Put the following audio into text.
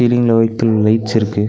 சீலிங்ல white colour lights இருக்கு.